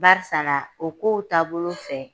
Barisala o kow taabolo fɛ